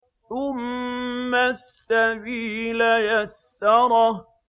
ثُمَّ السَّبِيلَ يَسَّرَهُ